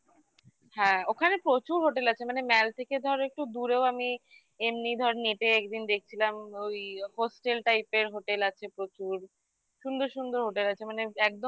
হ্যাঁ ওখানে প্রচুর hotel আছে মানে mall থেকে ধরো একটু দূরেও আমি এমনি ধর net -এ একদিন দেখছিলাম ওই hostel type -এর hotel আছে প্রচুর সুন্দর সুন্দর hotel আছে মানে একদম